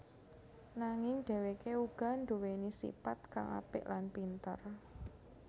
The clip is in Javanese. Nanging dheweke uga nduweni sipat kang apik lan pinter